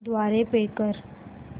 द्वारे पे कर